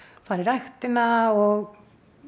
fara í ræktina og